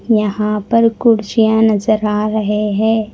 यहां पर कुर्सियां नजर आ रहे हैं।